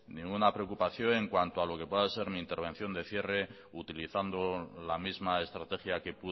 ninguna preocupación en cuanto a lo que pueda ser mi intervención de cierre utilizando la misma estrategia que